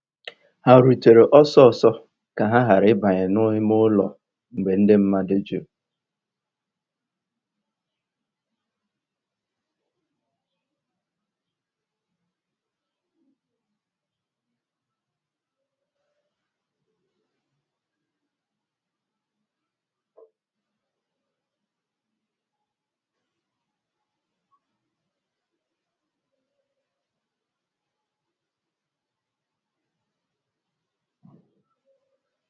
Ha rùtèrè ọ́sọ́sọ́ kà ha ghàrà ị̀bànyè n'ìmè ụ́lọ́ mgbe ndí mmadụ́ jùrù.